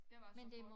Det var så hårdt